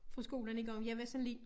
Fra skolen engang jeg var sådan lidt